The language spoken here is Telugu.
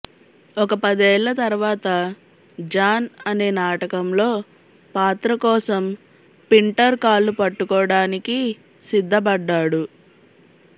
ఒక పదేళ్ళ తర్వాత జాన్ అదే నాటకంలో పాత్ర కోసం పింటర్ కాళ్ళు పట్టుకోడానికీ సిద్ధపడ్డాడు